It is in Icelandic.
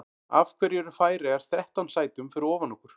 Af hverju eru Færeyjar þrettán sætum fyrir ofan okkur?